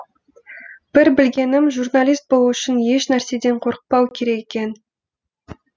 бір білгенім журналист болу үшін еш нәрседен қорықпау керек екен